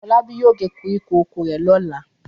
Fọlábí yóò gé koríko oko rẹ̀ lọ́la.